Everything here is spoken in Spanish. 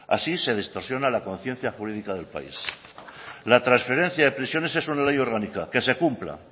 así se distorsiona la conciencia jurídica del país la transferencia de prisiones es una ley orgánica que se cumpla